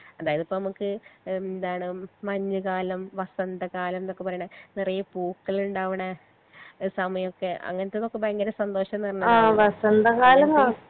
എന്തായാലും ഇപ്പൊ നമ്മുക്ക് എന്താണ് മഞ്ഞ് കാലം വസന്ത കാലംന്നൊക്കെ പറേണെ നിറയെ പൂകളിണ്ടാവിണെ ഏഹ് സമയൊക്കെ അങ്ങനത്തതൊക്കെ ഭയങ്കര സന്തോഷം